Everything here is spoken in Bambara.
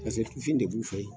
Paseke tufin de b'u fe yen.